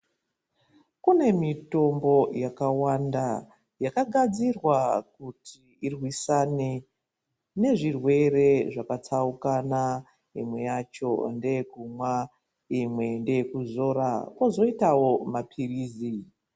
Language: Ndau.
Kune mitombo yakawanda yakagadzirwa kuti irwisane nezvirwere zvakatsaukana imwe yacho ndeyekuma imwe ndeyekuzora kozoitawo mapirizi .